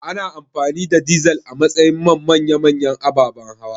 Ana amfani da dizal a matsayin man manya-manyan ababan hawa